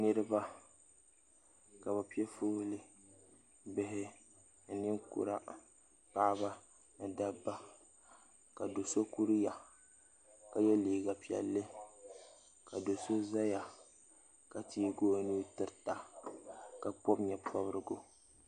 niriba ka be pɛ ƒɔli bihi ni ninkura paɣ' da ni ba ka do so kuriya ka yɛ liga piɛli ka do so zaya ka tɛyi o nuu tɛri ka pobi nyɛporigu